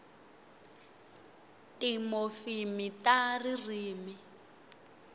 timofimi ta ririmi